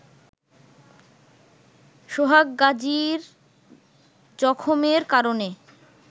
সোহাগ গাজির জখমের কারণে